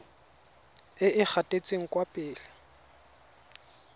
e e gatetseng kwa pele